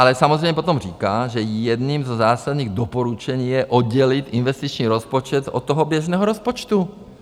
Ale samozřejmě potom říká, že jedním ze zásadních doporučení je oddělit investiční rozpočet od toho běžného rozpočtu.